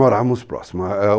Morávamos próximom